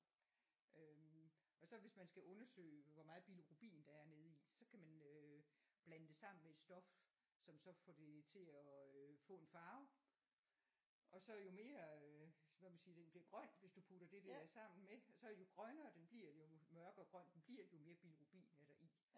Øh og så hvis man skal undersøge hvor meget bilirubin der er nede i så kan man øh blande det sammen med et stof som så får det til at øh få en farve og så jo mere øh hvad man siger den bliver grøn hvis du putter det der sammen med så jo grønnere den bliver jo mørkere grøn den bliver jo mere bilirubin er der i